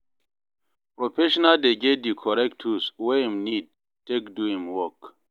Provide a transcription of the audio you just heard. professional dey get di correct tools wey im need take do im work